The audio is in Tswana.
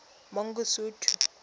mangosuthu